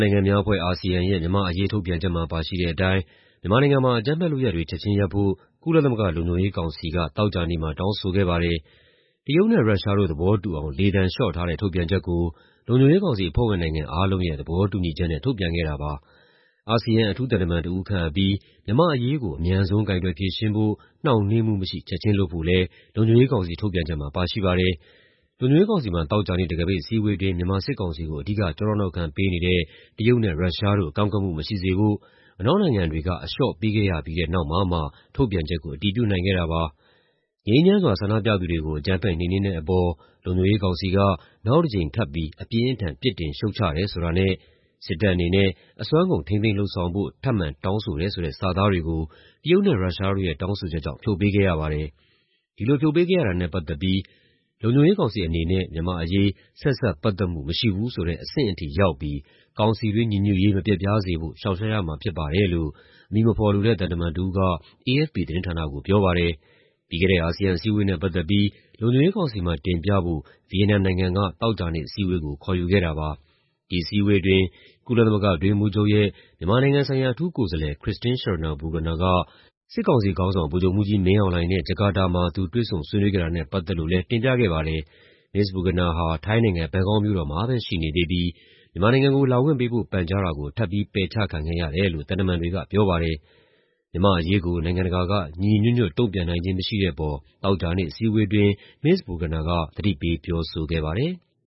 နိုင်ငံများအဖွဲ့ (ASEAN) ရဲ့ မြန်မာ့အရေး ထုတ်ပြန်ချက်မှာ ပါရှိတဲ့အတိုင်း မြန်မာနိုင်ငံမှာ အကြမ်းဖက်လုပ်ရပ်တွေ ချက်ချင်းရပ်ဖို့ ကုလသမဂ္ဂ လုံခြုံရေးကောင်စီက သောကြာနေ့မှာ တောင်းဆိုခဲ့ပါတယ်။ တရုတ်နဲ့ ရုရှားတို့ သဘောတူအောင် လေသံလျှော့ထားတဲ့ ထုတ်ပြန်ချက်ကို လုံခြုံရေးကောင်စီ အဖွဲ့ဝင်နိုင်ငံ အားလုံးရဲ့ သဘောတူညီချက်နဲ့ ထုတ်ပြန်ခဲ့တာပါ။ အာဆီယံ အထူးသံတမန်တဦး ခန့်အပ်ပြီး မြန်မာ့အရေးကို အမြန်ဆုံး ကိုင်တွယ်ဖြေရှင်းဖို့ နှောင့်နှေးမှုမရှိ ချက်ချင်းလုပ်ဖို့လည်း လုံခြုံရေးကောင်စီ ထုတ်ပြန်ချက်မှာ ပါရှိပါတယ်။ လုံခြုံရေးကောင်စီမှာ သောကြာနေ့ တံခါးပိတ်အစည်းအဝေးအတွင်း မြန်မာစစ်ကောင်စီကို အဓိက ကျောထောက်နောက်ခံပေးနေတဲ့ တရုတ်နဲ့ ရုရှားတို့ ကန့်ကွက်မှုမရှိစေဖို့ အနောက်နိုင်ငံတွေက အလျှော့ပေးခဲ့ရပြီးတဲ့နောက်မှာမှ ထုတ်ပြန်ချက်ကို အတည်ပြုနိုင်ခဲ့တာပါ။ "ငြိမ်းချမ်းစွာ ဆန္ဒပြသူတွေကို အကြမ်းဖက် နှိမ်နင်းတဲ့အပေါ် လုံခြုံရေးကောင်စီက နောက်တကြိမ် ထပ်ပြီး အပြင်းအထန် ပြစ်တင်ရှုတ်ချတယ်" ဆိုတာနဲ့ "စစ်တပ်အနေနဲ့ အစွမ်းကုန် ထိန်းသိမ်းလုပ်ဆောင်ဖို့ ထပ်မံတောင်းဆိုတယ်" ဆိုတဲ့ စာသားတွေကို တရုတ်နဲ့ ရုရှားတို့ရဲ့ တောင်းဆိုချက်ကြောင့် ဖြုတ်ပေးခဲ့ရပါတယ်။ ဒီလိုဖြုတ်ပေးခဲ့ရတာနဲ့ ပတ်သက်ပြီး "လုံခြုံရေးကောင်စီအနေနဲ့ မြန်မာ့အရေး ဆက်စပ်ပတ်သက်မှု မရှိဘူးဆိုတဲ့ အဆင့်ထိ ရောက်ပြီး ကောင်စီတွင်း ညီညွတ်ရေး မပျက်ပြားစေဖို့ ရှောင်ရှားရမှာ ဖြစ်ပါတယ်" လို့ အမည်မဖော်လိုတဲ့ သံတမန်တဦးက AFP သတင်းဌာနကို ပြောပါတယ်။ ပြီးခဲ့တဲ့ အာဆီယံအစည်းအဝေးနဲ့ ပတ်သက်ပြီး လုံခြုံရေးကောင်စီမှာ တင်ပြဖို့ ဗီယက်နမ်နိုင်ငံက သောကြာနေ့ အစည်းအဝေးကို ခေါ်ယူခဲ့တာပါ။ ဒီအစည်းအဝေးအတွင်း ကုလသမဂ္ဂ အတွင်းရေးမှူးချုပ်ရဲ့ မြန်မာနိုင်ငံဆိုင်ရာ အထူးကိုယ်စားလှယ် Christine Schraner Burgener က စစ်ကောင်စီခေါင်းဆောင် ဗိုလ်ချုပ်မှူးကြီးမင်းအောင်လှိုှုင်နဲ့ ဂျကာတာမှာ သူတွေ့ဆုံဆွေးနွေးခဲ့တာနဲ့ ပတ်သက်လို့လည်း တင်ပြခဲ့ပါတယ်။ Ms. Burgener ဟာ ထိုင်းနိုင်ငံ၊ ဘန်ကောက်မြို့တော်မှာပဲ ရှိနေသေးပြီး မြန်မာနိုင်ငံကို လာခွင့်ပေးဖို့ ပန်ကြားတာကို ထပ်ပြီး ပယ်ချခံခဲ့ရတယ်လို့ သံတမန်တွေက ပြောပါတယ်။ မြန်မာ့အရေးကို နိုင်ငံတကာက ညီညီညွတ်ညွတ် တုံ့ပြန်နိုင်ခြင်း မရှိတဲ့အပေါ် သောကြာနေ့ အစည်းအဝေးအတွင်း Ms. Burgener က သတိပေး ပြောဆိုခဲ့ပါတယ်။